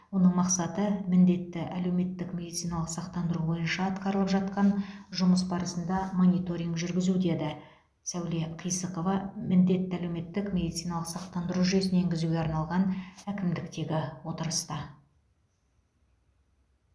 оның мақсаты міндетті әлеуметтік медициналық сақтандыру бойынша атқарылып жатқан жұмыс барысында мониторинг жүргізу деді сәуле қисықова міндетті әлеуметтік медициналық сақтандыру жүйесін енгізуге арналған әкімдіктегі отырыста